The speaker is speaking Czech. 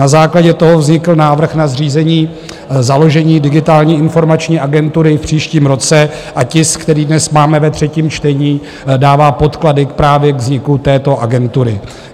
Na základě toho vznikl návrh na zřízení založení Digitální informační agentury v příštím roce a tisk, který dnes máme ve třetím čtení, dává podklady právě k vzniku této agentury.